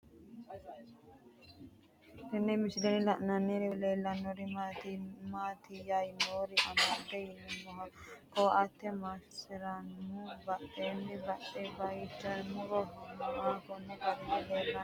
Tenne misilenni la'nanniri woy leellannori maattiya noori amadde yinummoro koate maasaraammu badheenni balidette kayiinsoonni muro noohu konni garinni leellanno yaatte